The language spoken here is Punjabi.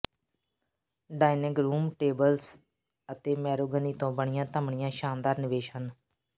ਡਾਇਨਿੰਗ ਰੂਮ ਟੇਬਲਸ ਅਤੇ ਮੈਰੋਗਨੀ ਤੋਂ ਬਣੀਆਂ ਧਮਣੀਆਂ ਸ਼ਾਨਦਾਰ ਨਿਵੇਸ਼ ਹਨ